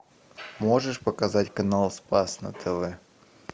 можешь показать канал спас на тв